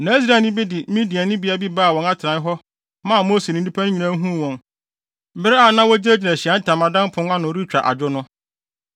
Na Israelni bi de Midiani bea bi baa wɔn atenae hɔ maa Mose ne nnipa no nyinaa huu wɔn bere a na wogyinagyina Ahyiae Ntamadan pon no ano retwa adwo no.